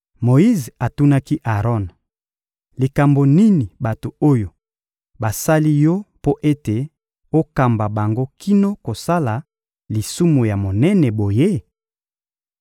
Moyize atunaki Aron: — Likambo nini bato oyo basali yo mpo ete okamba bango kino kosala lisumu ya monene boye?